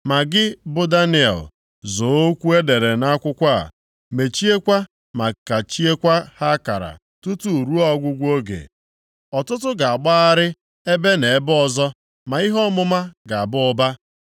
Ma gị bụ Daniel, zoo okwu e dere nʼakwụkwọ a, mechiekwa ma kachiekwa ha akara tutu ruo ọgwụgwụ oge. Ọtụtụ ga-agbagharị ebe na ebe ọzọ, ma ihe ọmụma ga-aba ụba.”